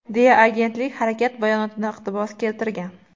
deya agentlik harakat bayonotidan iqtibos keltirgan.